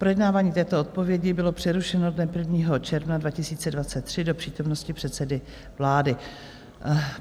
Projednávání této odpovědi bylo přerušeno dne 1. června 2023 do přítomnosti předsedy vlády.